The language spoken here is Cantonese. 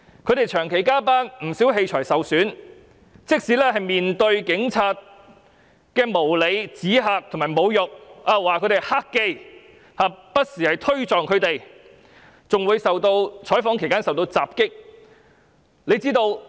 他們長期加班，不少器材受損，更要面對警察的無理指嚇和侮辱，指他們為"黑記"，更不時推撞他們，在採訪期間受到襲擊。